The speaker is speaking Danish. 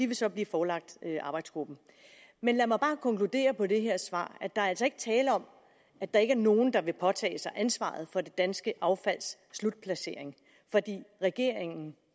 vil så blive forelagt arbejdsgruppen men lad mig bare konkludere på det her svar at der altså ikke er tale om at der ikke er nogen der vil påtage sig ansvaret for det danske affalds slutplacering for regeringen